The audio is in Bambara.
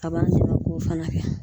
A b'an dɛmɛ k'o fana kɛ.